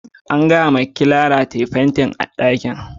An gaya wa Clara tayi fentin ɗakin.